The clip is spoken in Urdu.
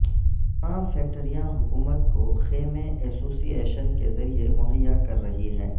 تمام فیکٹریاں حکومت کو خیمے ایسوسی ایشن کے ذریعے مہیا کر رہی ہیں